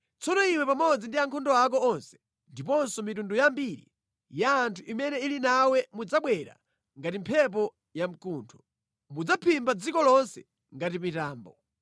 Tsono iwe pamodzi ndi ankhondo ako onse ndiponso mitundu yambiri ya anthu imene ili nawe mudzabwera ngati mphepo yamkuntho. Mudzaphimba dziko lonse ngati mitambo.